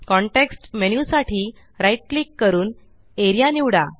context menu साठी right click करून A R E A निवडा